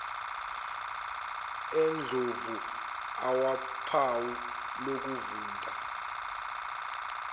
endlovu awuphawu lokuvunda